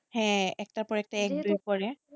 হ্যাঁ একটার পর একটা